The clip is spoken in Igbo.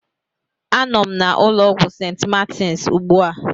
Anọ m na ụlọ ọgwụ St. Martins ugbu a.